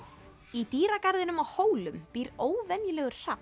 í dýragarðinum á Hólum býr óvenjulegur